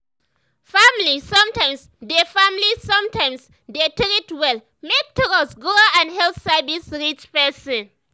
family sometimes dey family sometimes dey treat well make trust grow and health service reach person.